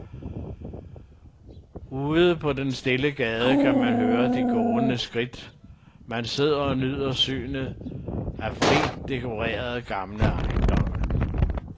Ude på den stille gade kan man høre de gåendes skridt, mens man sidder og nyder synet af rigt dekorerede gamle ejendomme.